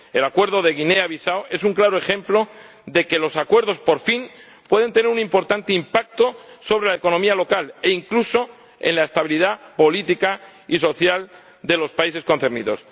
El acuerdo con Guinea Bisáu es un claro ejemplo de que los acuerdos, por fin, pueden tener un importante impacto sobre la economía local e incluso en la estabilidad política y social de los países concernidos.